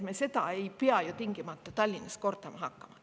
Me ei pea neid tingimata Tallinnas kordama hakkama.